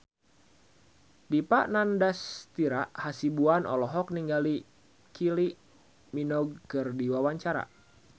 Dipa Nandastyra Hasibuan olohok ningali Kylie Minogue keur diwawancara